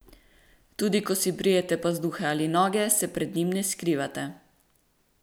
Tudi, ko si brijete pazduhe ali noge, se pred njim ne skrivate.